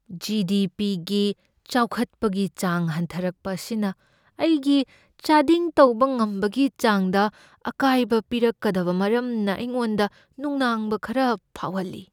G. D. P. ꯒꯤ ꯆꯥꯎꯈꯠꯄꯒꯤ ꯆꯥꯡ ꯍꯟꯊꯔꯛꯄ ꯑꯁꯤꯅ ꯑꯩꯒꯤ ꯆꯥꯗꯤꯡ ꯇꯧꯕ ꯉꯝꯕꯒꯤ ꯆꯥꯡꯗ ꯑꯀꯥꯏꯕ ꯄꯤꯔꯛꯀꯗꯕ ꯃꯔꯝꯅ ꯑꯩꯉꯣꯟꯗ ꯅꯨꯡꯅꯥꯡꯕ ꯈꯔ ꯐꯥꯎꯍꯜꯂꯤ꯫